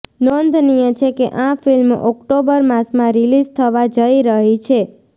નોંધનીય છે કે આ ફિલ્મ ઓક્ટોબર માસમાં રીલિઝ થવા જઇ રહી છે